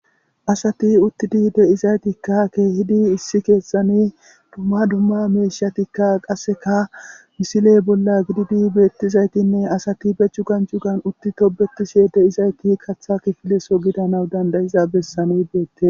Asati uttidi deizaytikka keehidi issi keessani dumma dumma meeshatikka qasseka misiley bolla gididi beettizaytinne asati bechu gancu gan utti tobetiseye de,izayti katha kifileso gidanaw dandayiza bessanbeette.